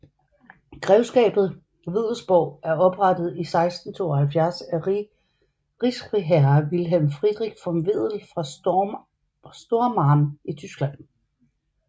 Grevskabet Wedellsborg er oprettet i 1672 af rigsfriherre Wilhelm Friedrich von Wedell fra Stormarn i Tyskland